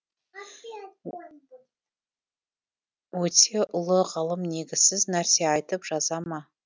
өйтсе ұлы ғалым негізсіз нәрсе айтып жаза ма